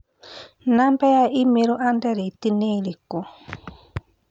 namba ya i-mīrū andirethi nĩ ĩrĩkũ?